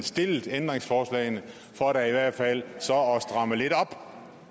stillet ændringsforslagene for da i hvert fald så at stramme lidt op